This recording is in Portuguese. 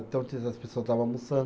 Então, as pessoa estava almoçando.